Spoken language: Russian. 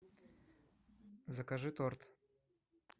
закажи торт